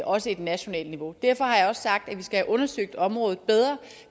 også et nationalt niveau derfor har jeg også sagt at vi skal have undersøgt området bedre